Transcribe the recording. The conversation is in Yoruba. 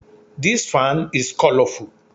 This fan is colourful